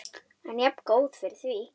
En jafngóð fyrir því!